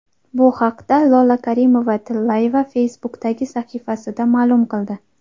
Bu haqda Lola Karimova-Tillayeva Facebook’dagi sahifasida ma’lum qildi .